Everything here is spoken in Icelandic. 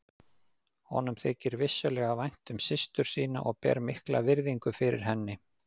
Honum þykir vissulega vænt um systur sína og ber mikla virðingu fyrir henni.